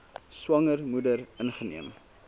swanger moeder ingeneem